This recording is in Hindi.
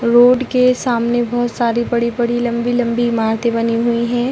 रोड के सामने बोहोत सारी बड़ी-बड़ी लम्बी-लम्बी इमारते बनी हुई है।